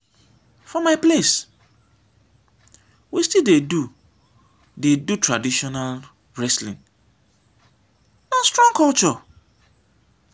for my place we still dey do dey do traditional wrestling na strong culture.